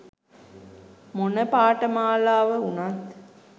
මොන පාඨමාලාව උනත්